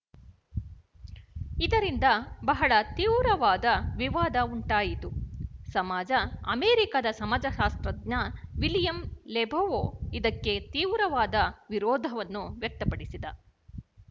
ಇದರಿಂದ ಬಹಳ ತೀವ್ರವಾದ ವಿವಾದ ಉಂಟಾಯಿತು ಸಮಾಜ ಅಮೆರಿಕಾದ ಸಮಾಜಶಾಸ್ತ್ರಜ್ಞ ವಿಲಿಯಂ ಲೆಬೊವ್ ಇದಕ್ಕೆ ತೀವ್ರವಾದ ವಿರೋಧವನ್ನು ವ್ಯಕ್ತಪಡಿಸಿದ